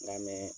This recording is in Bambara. N ka mɛɛn